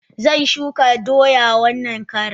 Zan shuka doya wannan karan.